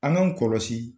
An k'an kɔlɔsi